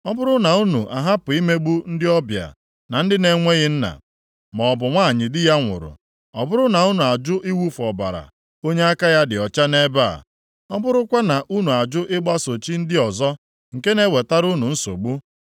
ọ bụrụ na unu ahapụ imegbu ndị ọbịa, na ndị na-enweghị nna, maọbụ nwanyị di ya nwụrụ; ọ bụrụ na unu ajụ iwufu ọbara onye aka ya dị ọcha nʼebe a, ọ bụrụkwa na unu ajụ ịgbaso chi ndị ọzọ nke na-ewetara unu nsogbu,